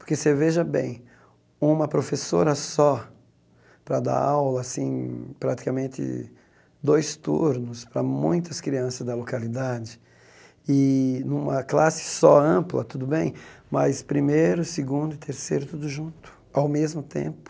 Porque você veja bem, uma professora só para dar aula assim, praticamente dois turnos para muitas crianças da localidade e numa classe só ampla, tudo bem, mas primeiro, segundo e terceiro tudo junto, ao mesmo tempo.